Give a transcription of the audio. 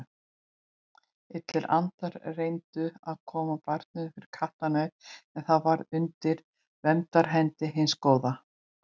Illir andar reyndu að koma barninu fyrir kattarnef en það var undir verndarhendi hins góða.